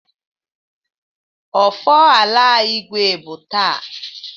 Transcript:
Ofala Igwe bụ taa.